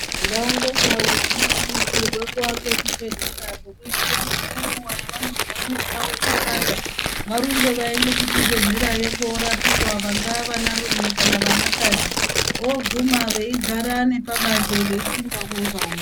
Ndau ngendau dzinokurudzirwe kuvake zvibhedhlera zvekuitire kuti ngenguwa yavanozwa mwiiri yavo ichipanda, varumbe vaende kuzvibhedhlerayo korapiwa. Vangaa vanarume kana vanakadzi, voguma veigara nepabanze veipinda umwe ngaumwe.